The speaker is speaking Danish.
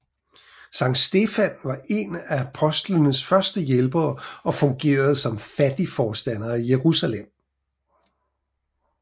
Sankt Stefan var én af apostlenes første hjælpere og fungerede som fattigforstander i Jerusalem